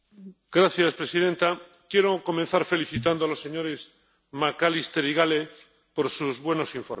Señora presidenta, quiero comenzar felicitando a los señores McAllister y Gahler por sus buenos informes.